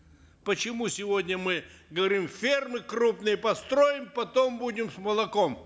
почему сегодня мы говорим фермы крупные построим потом будем с молоком